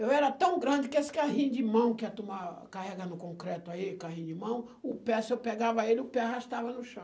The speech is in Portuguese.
Eu era tão grande que esse carrinho de mão que é carrega no concreto aí o carrinho de mão, o pé, se eu pegava ele, o pé arrastava no chão.